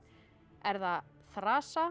er það